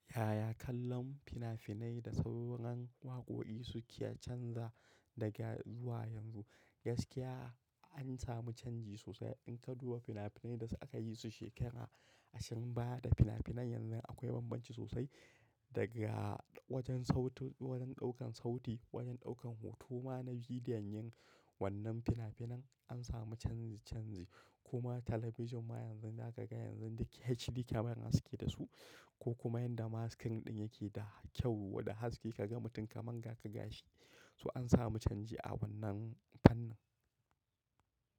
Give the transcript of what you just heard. Yaya kallon fina-finai da sauran waƙoƙi suke canza daga zuwa yanzu? Gaskiya an samu canji sosai. In ka duba fina-finai da aka yi su shekara ashirin baya da fina-finan yanzu akwai bambanci sosai. Daga wajen sautin, wajen ɗaukan sauti, wajen ɗaukan hoto ma na bidiyon yin wannan fina-finan an samu canji-canji. Kuma talabijin ma yanzu za ka ga yanzu HD camera suke da su ko kuma yanda ma screen ɗin yake da kyau da haske ka ga mutum kamar ga ka ga shi. To an samu canji a wannan fannin.